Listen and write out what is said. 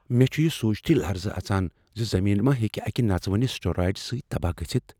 مےٚ چُھ یہِ سوٗنٛچتھٕے لرزٕ اژان زِ زٔمیٖن ما ہیٚکہ اکہ نژوٕنہ اسٹیٖرایڈٕ سۭتۍ تباہ گٔژھتھ ۔